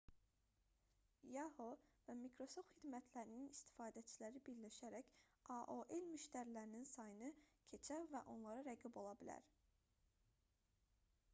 yahoo və micrasoft xidmətlərinin istifadəçiləri birləşərək aol müştərilərinin sayını keçə və onlara rəqib ola bilər